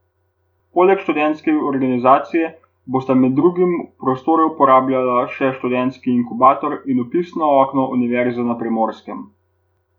Poleg sedeža študentske organizacije bosta med drugimi prostore uporabljala še študentski inkubator in vpisno okno Univerze na Primorskem.